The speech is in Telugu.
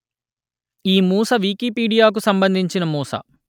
ఈ మూస వికీపీడియాకు సంబంధించిన మూస